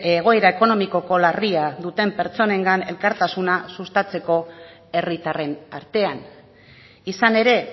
egoera ekonomiko larria duten pertsonengan elkartasuna sustatzeko herritarren arteaan izan ere